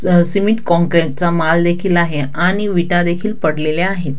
अ cement concrete चा माल देखील आहे आणि विटा देखील पडलेल्या आहेत.